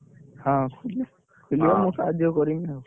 ହଁ, ଖୋଲିବ ଖୋଲିବ ମୁଁ ସହାଯ୍ୟ କରିମି ଆଉ।